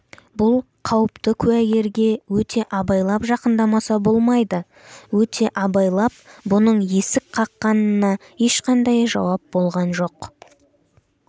бұл қауіпті куәгерге өте абайлап жақындамаса болмайды өте абайлап бұның есік қаққанына ешқандай жауап болған жоқ